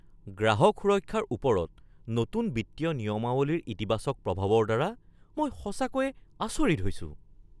গ্ৰাহক সুৰক্ষাৰ ওপৰত নতুন বিত্তীয় নিয়মাৱলীৰ ইতিবাচক প্ৰভাৱৰ দ্বাৰা মই সঁচাকৈয়ে আচৰিত হৈছো।